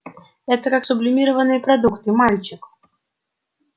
это как сублимированные продукты мальчик